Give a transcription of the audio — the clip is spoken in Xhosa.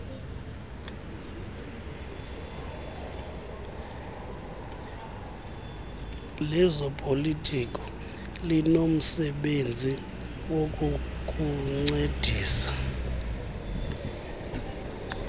lezopolitiko linomsebenzi wokukuncedisa